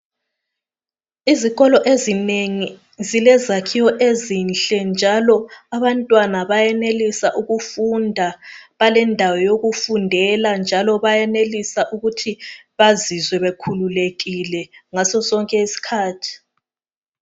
Izikolo ezinengi zilezakhiwo ezinhle njalo abantwana bayenelisa ukufunda balendawo yokufundela njalo bayenelisa ukuthi bazizwe bekhululekile ngasosonke isikhathi.